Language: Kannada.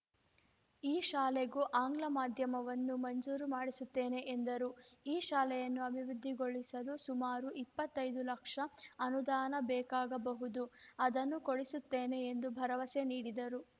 ಈ ಶಾಲೆಗೂ ಆಂಗ್ಲ ಮಾಧ್ಯಮವನ್ನು ಮಂಜೂರು ಮಾಡಿಸುತ್ತೇನೆ ಎಂದರು ಈ ಶಾಲೆಯನ್ನು ಅಭಿವೃದ್ಧಿಗೊಳಿಸಲು ಸುಮಾರು ಇಪ್ಪತ್ತೈದು ಲಕ್ಷ ಅನುದಾನ ಬೇಕಾಗಬಹುದು ಅದನ್ನು ಕೊಡಿಸುತ್ತೇನೆ ಎಂದು ಭರವಸೆ ನೀಡಿದರು